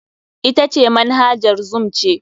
Ita ce Manhajar zoom ce.